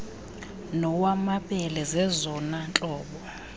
nowamabele zezona ntlobo